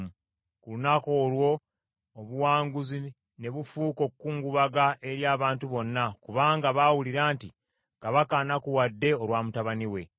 Ku lunaku olwo obuwanguzi ne bufuuka okukungubaga eri abantu bonna, kubanga baawulira nti, “Kabaka anakuwadde olwa mutabani we.”